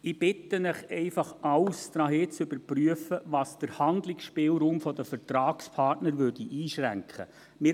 Ich bitte Sie einfach, alles darauf hin zu überprüfen, ob es den Handlungsspielraum der Vertragspartner einschränken würde.